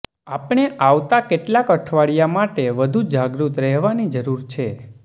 આપણે આવતા કેટલાક અઠવાડિયા માટે વધુ જાગૃત રહેવાની જરૂર છે